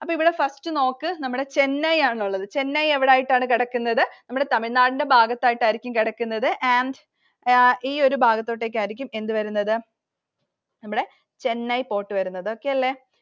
അപ്പോൾ ഇവിടെ first നോക്ക് നമ്മുടെ Chennai ആണുള്ളത്. Chennai എവിടെയായിട്ടാണ് കിടക്കുന്നത്? തമിഴ്‌നാടിന്റെ ഭാഗത്തായിട്ടായിരിക്കും കിടക്കുന്നത്. ഈ ഒരു ഭാഗത്തോട്ടേക്കായിരിക്കും എന്ത് വരുന്നത്, നമ്മുടെ Chennai port വരുന്നത്. Okay അല്ലെ?